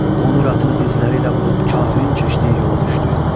Qonur atını dizləri ilə vurub kafirin keşdiyi yola düşdü.